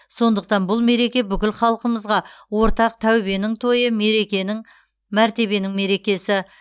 сондықтан бұл мереке бүкіл халқымызға ортақ тәубенің тойы мәртебенің мерекесі